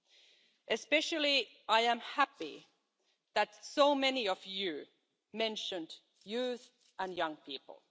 I am especially happy that so many of you mentioned youth and young people.